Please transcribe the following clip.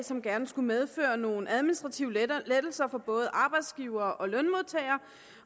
som gerne skulle medføre nogle administrative lettelser for både arbejdsgivere og lønmodtagere